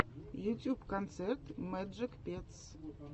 ютьюб концерт мэджик петс